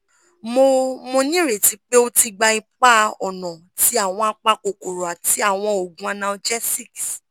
mo mo nireti pe o ti gba ipa-ọna ti awọn apakokoro ati awọn oogun analgesics